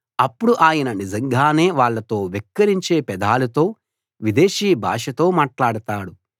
అప్పుడు ఆయన నిజంగానే వాళ్ళతో వెక్కిరించే పెదాలతో విదేశీ భాషలో మాట్లాడతాడు